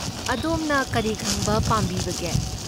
ꯑꯗꯣꯝꯅ ꯀꯔꯤ ꯈꯪꯕ ꯄꯥꯝꯕꯤꯕꯒꯦ?